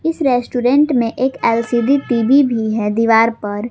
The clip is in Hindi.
इस रेस्टोरेंट में एक एल_सी_डी टी_वी भी है दीवार पर।